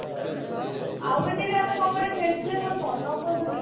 ଆଉ ଗୋଟେ ଭି ଆମେ କଣ ଗଟେ ଖେଳିଥିଲେ ମୋର ମନ ପଡୁନି